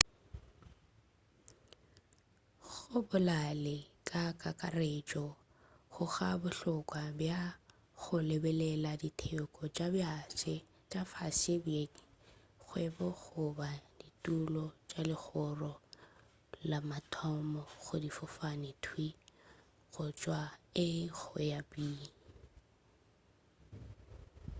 go bolale ka kakaretšo ga go bohlokwa bja go lebelela diteko tša fase bkeng sa kgwebo goba ditulo tša legoro la mathomo go difofane thwii go tšwa a go ya go b